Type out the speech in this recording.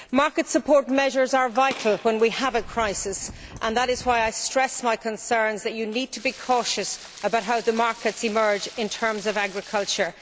Market support measures are vital when we have a crisis, and that is why I stress my concerns that you need to be cautious about how the markets emerge in terms of agriculture.